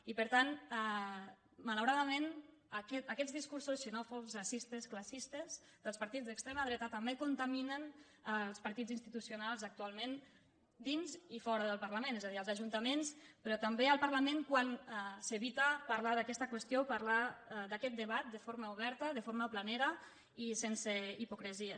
i per tant malauradament aquests discursos xenòfobs ra·cistes classistes dels partits d’extrema dreta tam·bé contaminen els partits institucionals actualment dins i fora del parlament és a dir els ajuntaments pe·rò també el parlament quan s’evita parlar d’aquesta qüestió parlar d’aquest debat de forma oberta de for·ma planera i sense hipocresies